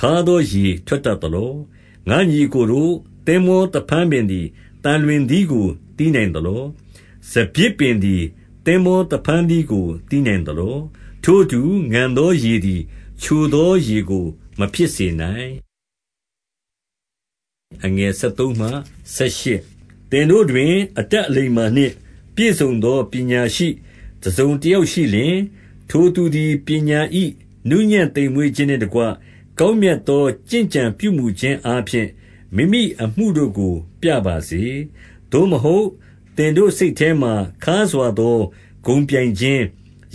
ခါးသောရေထွက်တတ်သလော။ ငါ့ညီအစ်ကိုတို့၊ သင်္ဘောသဖန်းပင်သည် သံလွင်သီးကို သီးနိုင်သလော။ စပျစ်ပင်သည် သင်္ဘော သဖန်းသီးကို သီးနိုင်သလော။ ထိုအတူ၊ ငန်သောရေသည် ချိုသောရေကိုမဖြစ်စေနိုင်။ သင်တို့တွင် အတတ်အလိမ္မာနှင့်ပြည့်စုံသော ပညာရှိတစုံတယောက်ရှိလျှင်၊ ထိုသူသည် ပညာ၏ နှုးညံ့သိမ်မွေ့ခြင်းနှင့်တကွ၊ ကောင်းမြတ်သော ကျင့်ကြံပြုမူခြင်းအားဖြင့် မိမိအမှုတို့ကို ပြပါစေ။ သို့မဟုတ်သင်တို့စိတ်ထဲမှာ ခါးစွာသော ဂုဏ်ပြိုင်ခြင်း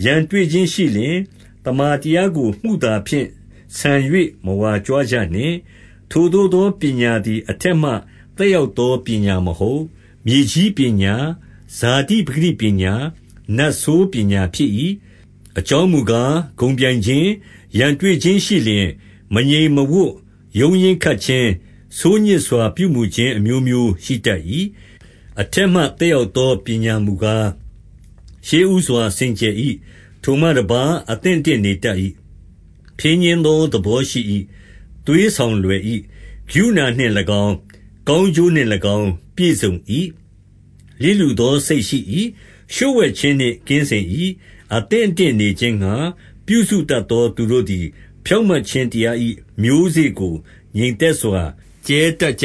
၊ ရန်တွေ့ခြင်းမရှိလျှင်၊ သမ္မာတရားကို မုသာဖြင့် ဆန်၍ မဝါကြွားကြနှင့်။ ထိုသို့သောပညာသည် အထက်မှသက်ရောက်သောပညာမဟုတ်။ မြေကြီးပညာ၊ ဇာတိပကတိပညာ၊ နတ်ဆိုးပညာဖြစ်၏။ အကြောင်းမူကား၊ ဂုဏ်ပြိုင်ခြင်း၊ ရန်တွေ့ခြင်းရှိလျှင်၊ မငြိမ်မဝပ်ရုန်းရင်းခတ်ခြင်း၊ ဆိုးညစ်စွာ ပြုမူခြင်း အမျိုးမျိုးရှိတတ်၏။ အထက်မှ သက်ရောက်သောပညာမူကား၊ ရှေ့ဦးစွာစင်ကြယ်၏။ ထိုမှတပါး၊ အသင့်အတင့်နေ တတ်ကြ၏။ ဖြည်းညှင်းသောသဘောရှိ၏။ သွေးဆောင်လွယ်၏။ ကရုဏာနှင့်၎င်း၊ ကောင်းကျိုးနှင့်၎င်း ပြည့်စုံ၏။ လျစ်လျူသောစိတ်ရှိ၏။ လျှို့ဝှက်ခြင်းနှင့်ကင်းစင်၏။ အသင့်အတင့်နေခြင်းငှါပြုစုတတ်သော သူတို့သည် ဖြောင့်မတ်ခြင်းတရား၏ မျိုးစေ့ကိုငြိမ်သက်စွာ ကြဲတတ်ကြ